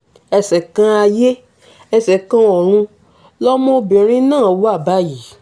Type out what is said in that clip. ẹ̀ṣẹ̀ kan ayé ẹsẹ̀ kan ọ̀run lọmọbìnrin náà wà báyìí